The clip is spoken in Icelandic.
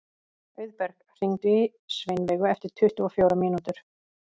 Auðberg, hringdu í Sveinveigu eftir tuttugu og fjórar mínútur.